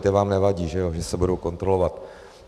Ty vám nevadí, že ano, že se budou kontrolovat?